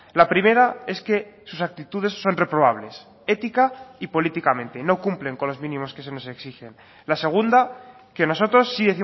la primera es que sus actitudes son reprobables ética y políticamente no cumplen con los mínimos que se nos exigen la segunda que nosotros sí